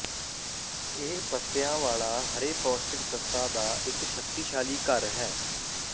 ਇਹ ਪੱਤਿਆਂ ਵਾਲਾ ਹਰੇ ਪੌਸ਼ਟਿਕ ਤੱਤਾਂ ਦਾ ਇੱਕ ਸ਼ਕਤੀਸ਼ਾਲੀ ਘਰ ਹੈ